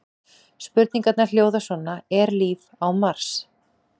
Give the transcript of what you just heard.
Spurningarnar hljóða svo: Er líf á Mars?